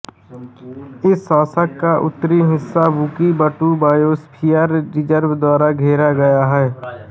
इस शासन का उत्तरी हिस्सा बुकी बटू बायोस्फीयर रिजर्व द्वारा घेरा गया है